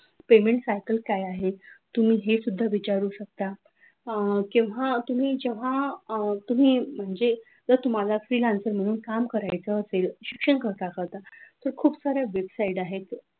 payment cycle काय आहे तुम्ही हे सुद्धा विचारू शकता अह किंवा तुम्ही जेव्हा अह तुम्ही म्हणजे तर तुम्हाला freelancer म्हणून काम करायचं असे शिक्षण करता करतात तर खूप सार्‍या वेबसाईट आहेत.